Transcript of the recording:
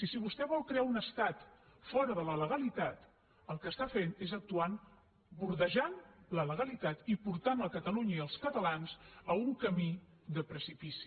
i si vostè vol crear un estat fora de la legalitat el que fa és actuar bordejant la legalitat i portant catalunya i els catalans a un camí de precipici